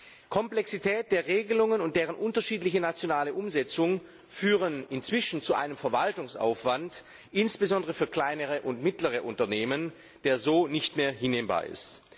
Die Komplexität der Regelungen und deren unterschiedliche nationale Umsetzung führen inzwischen zu einem Verwaltungsaufwand, insbesondere für kleinere und mittlere Unternehmen, der so nicht mehr hinnehmbar ist.